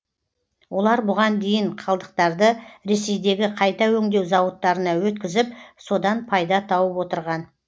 олар бұған дейін қалдықтарды ресейдегі қайта өңдеу зауыттарына өткізіп содан пайда тауып отырған